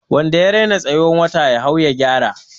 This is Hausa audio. Wanda ya rena tsayuwar wata ya hau ya gyara.